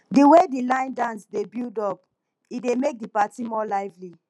di way di line dance dey build up e dey make di party more lively